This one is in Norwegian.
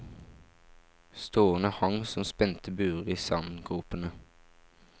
Stråene hang som spente buer i sandgropene.